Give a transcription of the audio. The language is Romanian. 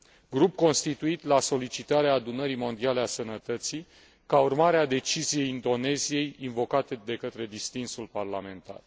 grup constituit la solicitatea Adunării Mondiale a Sănătății, ca urmare a deciziei Indoneziei invocată de către distinsul parlamentar.